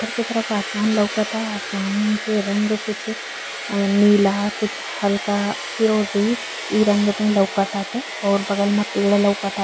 ऊपर की तरफ आसमान लउकता। आसमान के रंग कुछ नीला कुछ हल्का फिरोजी। ई रंग मे लउकत ताटे और बगल मे पेड़ लउकता।